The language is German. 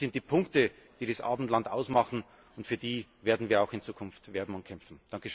Das sind die Punkte, die das Abendland ausmachen, und für die werden wir auch in Zukunft werben und kämpfen.